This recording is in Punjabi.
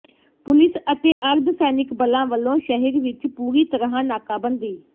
ਪੁਲਿਸ ਅਤੇ ਅਰਧ ਸੈਨਿਕ ਬਲਾਂ ਵੱਲੋਂ ਸ਼ਹਿਰ ਵਿਚ ਪੂਰੀ ਤਰ੍ਹਾਂ ਨਾਕਾਬੰਦੀ